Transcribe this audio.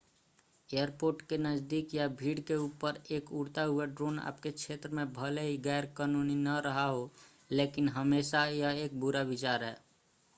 airport के नज़दीक या भीड़ के ऊपर एक उड़ता हुआ ड्रोन आपके क्षेत्र में भले ही गैर-कानूनी न रहा हो लेकिन हमेशा यह एक बुरा विचार है